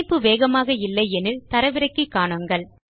இணைப்பு வேகமாக இல்லை எனில் தரவிறக்கி காணுங்கள்